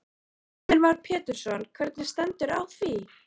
Heimir Már Pétursson: Hvernig stendur á því?